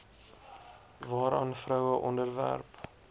waaraan vroue onderwerp